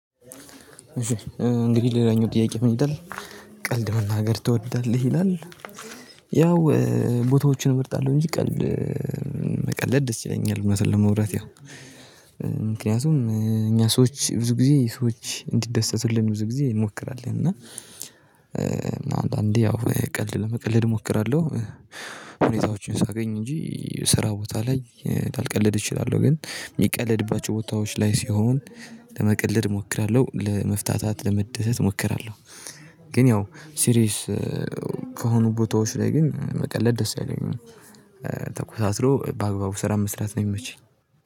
እንግዲህ ሌላኛው ጥያቄ ምን ይላል? ቀልድ መናገር ትወዳለህ ይላል? ያው ቦታዎችን እመርጣለሁ እንጂ ቀልድ መቀለድ ደስ ይለኛል። እዉነቱን ለማዉራት ያው ምክንያቱም እኛ ሰዎች ብዙ ጊዜ ሰዎች እንዲደሰቱልን ብዙ ጊዜ እንሞክራለን። አንዳዴ ያው ቀልድ ለመቀለድ እሞክራለሁ። ሁኔታዎችን ሳገኝ እንጂ ስራ ቦታ ላይ ላልቀለድ እችላለሁ። ግን የሚቀለድባቸው ቦታዎች ላይ ሲሆን ለመቀለድ እሞክራለሁ ለመፍታታት ለመደሰት እሞክራለሁ። ግን ያው ሲሪየስ ከሆኑ ቦታዎች ላይ ግን መቀለድ ደስ ያለኝ ነው። ተኮሳትሮ በአግባቡ ስራ መስራት ነው የሚመቸኝ